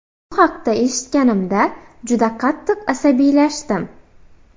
Bu haqda eshitganimda juda qattiq asabiylashdim.